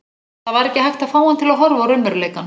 Það var ekki hægt að fá hann til að horfa á raunveruleikann.